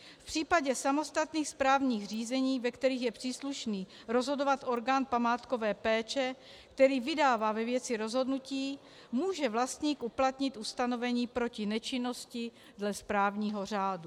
V případě samostatných správních řízení, ve kterých je příslušný rozhodovat orgán památkové péče, který vydává ve věci rozhodnutí, může vlastník uplatnit ustanovení proti nečinnosti dle správního řádu.